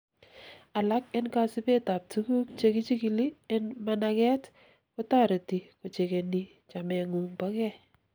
alak en kasibet ab tuguk chekichikili en managet kotoreti kochekeni chamengung bokei